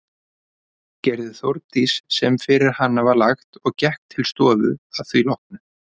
Gerði Þórdís sem fyrir hana var lagt og gekk til stofu að því loknu.